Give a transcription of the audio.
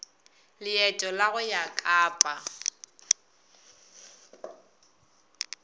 leeto la go ya kapa